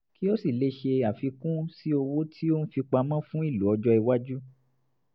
kí ó sì lè ṣe àfikún sí owó tó ń fi pamọ́ fún ìlò ọjọ́-iwájú